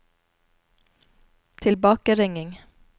tilbakeringing